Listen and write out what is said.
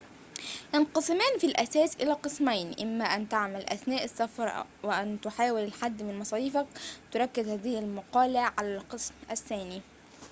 ينقسمان في الأساس إلى قسمين إما أن تعمل أثناء السفر أو أن تحاول الحد من مصاريفك تُركز هذه المقالة على القسم الثاني